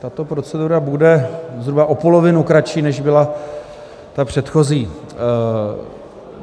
Tato procedura bude zhruba o polovinu kratší, než byla ta předchozí.